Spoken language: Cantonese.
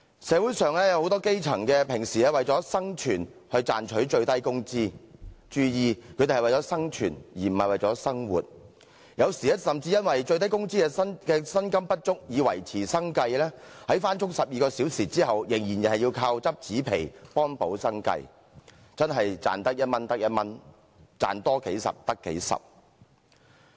社會上有很多基層人士平時為了生存而賺取最低工資，注意他們是為了生存，而不是為了生活，有時甚至由於最低工資的薪金不足以維持生計，在工作12小時後，仍要倚靠執紙皮幫補生計，真的是"賺得一蚊得一蚊，賺多幾十得幾十"。